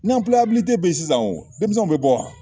bɛ yen sisan denmisɛnw bɛ bɔ wa